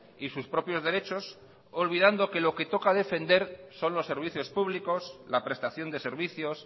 y sus propios derechos olvidando que lo que toca defender son los servicios públicos la prestación de servicios